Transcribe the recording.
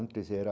Antes era